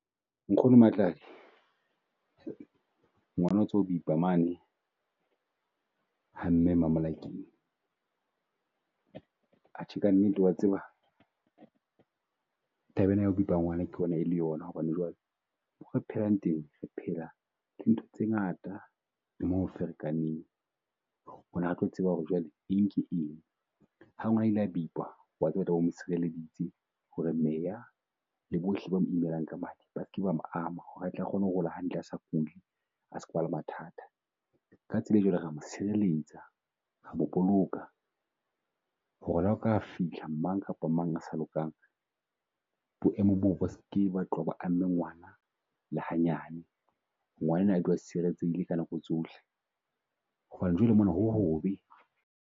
Nkgono Matladi ngwana o tswa bipa mane ha mme Mamolakeng, atjhe ka nnete wa tseba taba ena ya ho bipa ngwana ke bo na e le yona. Hobane jwale re phelang teng, re phela ntho tse ngata mo ho ferekaneng, tseba ho re jwale eng ke eng. Ha ngwana a ile a bipwa wa tseba mo tshireleditse he re meya le bohle ba mo imelang ka madi, ba seke ba mo ama ho re a tle a kgone ho robala hantle a sa kuli, a ska ba le mathata. Ka tsela e jwalo re ya mo tshireletsa, re ya mo boloka ho re le ha ho ka fihla mang kapa mang a sa lokang. Boemo boo bo ske ba tloha bo amme ngwana le hanyane, ngwanenwa a dule a sireletsehile ka nako tsohle. Hobane jwale mona ho ho be.